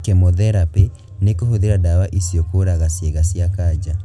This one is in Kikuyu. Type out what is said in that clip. Kemotherapĩ nĩ kũhũthĩra ndawa icio kũraga ciĩga cia kanja